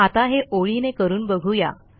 आता हे ओळीने करून बघू या